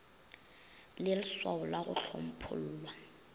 le lswao la go hlomphollwa